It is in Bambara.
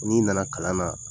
N' nana kalan na